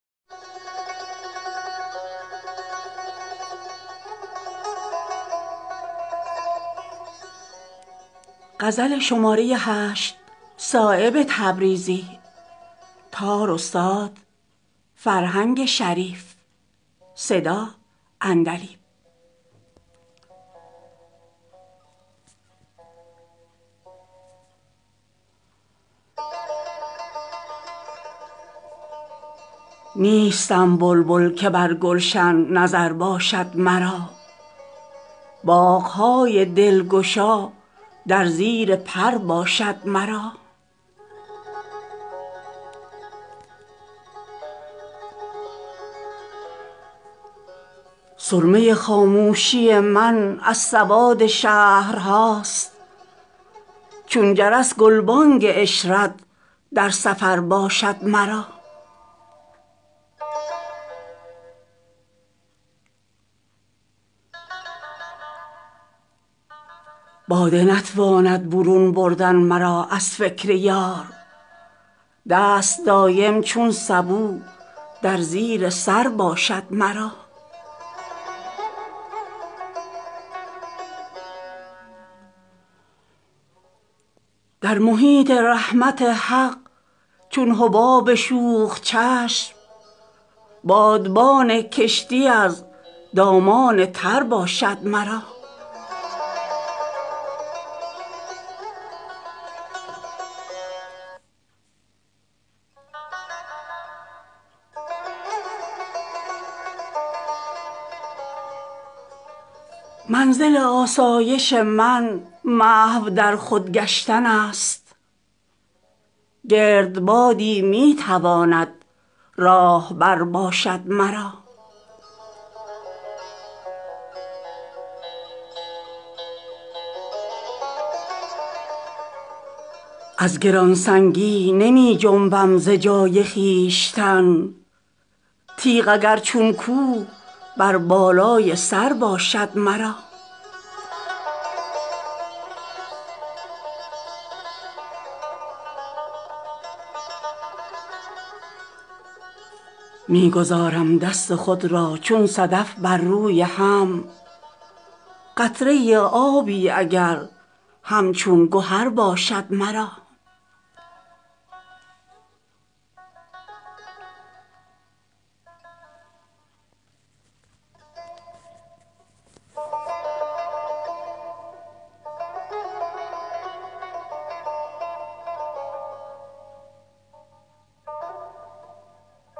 نیستم بلبل که بر گلشن نظر باشد مرا باغ های دلگشا در زیر پر باشد مرا تلخرویان را می روشن گوارا می کند ابر بی می کوه بر بالای سر باشد مرا نیستم یک لحظه بی مشق جنون هر جا که هست نوخطی پیوسته در مد نظر باشد مرا سرمه خاموشی من از سواد شهرهاست چون جرس گلبانگ عشرت در سفر باشد مرا هر چه غیر از ساده لوحی دام پرواز من است می فشانم نقش اگر بر بال و پر باشد مرا باده نتواند برون بردن مرا از فکر یار دست دایم چون سبو در زیر سر باشد مرا داغ دارد لنگ تمکین من گرداب را صد کمند وحدت از موج خطر باشد مرا می رسانم شبنم خود را به خورشید بلند تا به چند از ژاله دندان بر جگر باشد مرا سختی ایام نتواند مرا خاموش کرد خنده ها چون کبک در کوه و کمر باشد مرا در محیط رحمت حق چون حباب شوخ چشم بادبان کشتی از دامان تر باشد مرا با خیال آن دهن از تلخکامی فارغم تنگی دل در نظر تنگ شکر باشد مرا منزل آسایش من محو در خود گشتن است گردبادی می تواند راهبر باشد مرا کرد فارغ حیرت از آمد شد نظاره ام پرده بیگانگی نور نظر باشد مرا نیستم مرغی که باشم بر دل صیاد بار چشم دامی در کمین در هر گذر باشد مرا از گرانسنگی نمی جنبم ز جای خویشتن تیغ اگر چون کوه بر بالای سر باشد مرا بر دلم گرد یتیمی نیست چون گوهر گران روی دل با خاکساران بیشتر باشد مرا نیست چون نازک میانی در نظر آشفته ام رشته شیرازه از موی کمر باشد مرا می گذارم دست خود را چون صدف بر روی هم قطره آبی اگر همچون گهر باشد مرا در دل چاکم سراسر می رود آب حیات تا خرام یار در مد نظر باشد مرا نیست از کوته زبانی بر لبم مهر سکوت تیغ ها پوشیده در زیر سپر باشد مرا می کنم صایب ز صندل پرده پوشی درد را حاش للٰه شکوه ای از درد سر باشد مرا